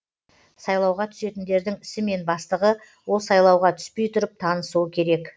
сайлауға түсетіндердің ісімен бастығы ол сайлауға түспей тұрып танысуы керек